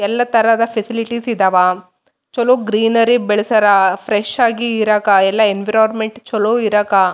ಎಲ್ಲ ತರದ ಫೆಸಿಲಿಟೀಸ್ ಇದಾವ ಚಲೋ ಗ್ರೀನರಿ ಬೆಳೆಸ್ಯಾರ ಫ್ರೆಶ್ ಆಗಿ ಇರಾಕ ಎಲ್ಲ ಎನ್ವಿರೋನ್ಮೆಂಟ್ ಚಲೋ ಇರಾಕ.